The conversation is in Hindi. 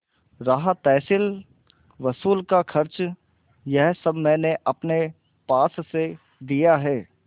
रहा तहसीलवसूल का खर्च यह सब मैंने अपने पास से दिया है